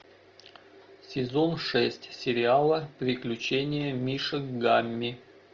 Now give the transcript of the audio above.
сезон шесть сериала приключения мишек гамми